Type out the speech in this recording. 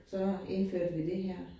Så indførte vi det her